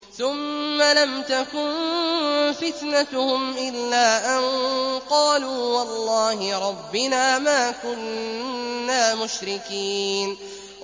ثُمَّ لَمْ تَكُن فِتْنَتُهُمْ إِلَّا أَن قَالُوا وَاللَّهِ رَبِّنَا مَا كُنَّا مُشْرِكِينَ